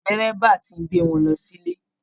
Dẹ́rẹ́bà ti ń gbé wọn lọ sílé